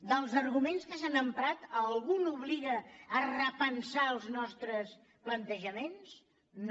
dels arguments que s’han emprat algun obliga a repensar els nostres plantejaments no